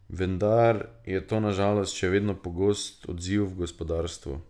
Vendar je to na žalost še vedno pogost odziv v gospodarstvu.